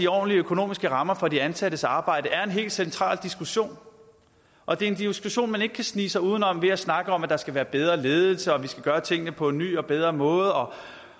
ordentlige økonomiske rammer for de ansattes arbejde er en helt central diskussion og det er en diskussion man ikke kan snige sig uden om ved at snakke om at der skal være bedre ledelse og vi skal gøre tingene på ny og bedre måde og